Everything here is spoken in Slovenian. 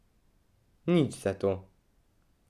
Nič zato.